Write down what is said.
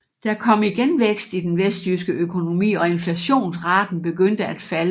Der kom igen vækst i den vesttyske økonomi og inflationsraten begyndte at falde